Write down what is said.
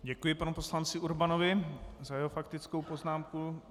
Děkuji panu poslanci Urbanovi za jeho faktickou poznámku.